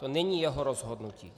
To není jeho rozhodnutí.